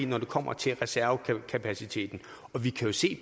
når det kommer til reservekapaciteten og vi kan jo se